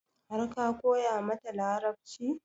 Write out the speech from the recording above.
Har ka koya mata Larabci?